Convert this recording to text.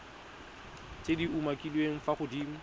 tse di umakiliweng fa godimo